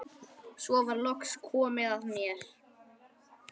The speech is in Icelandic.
Svo var loks komið að mér.